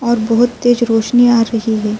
اور بھوت تیز روشنی آ رہی ہے۔